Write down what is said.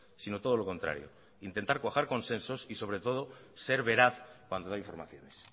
sino todo lo contrario intentar cuajar consensos y sobre todo ser veraz cuando da informaciones